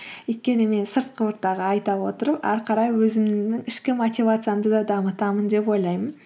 өйткені мен сыртқы ортаға айта отырып ары қарай өзімнің ішкі мотивациямды да дамытамын деп ойлаймын